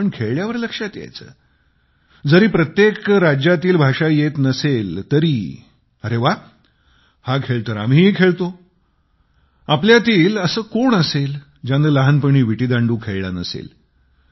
पण खेळल्यावर लक्षात यायचे जरी प्रत्येक राज्यातील भाषा येत नसेल तरी अरे वा हा खेळ तर आम्हीही खेळतो आपल्यातील असे कोण असेल ज्याने लहानपणी विटीदांडू खेळला नसेल